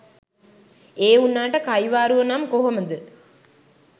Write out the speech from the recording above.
ඒ වුනාට කයිවාරුව නම් කොහොමද.